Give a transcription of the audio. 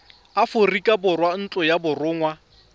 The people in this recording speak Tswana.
aforika borwa ntlo ya borongwa